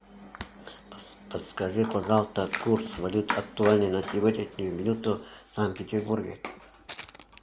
подскажи пожалуйста курс валют актуальный на сегодняшнюю минуту в санкт петербурге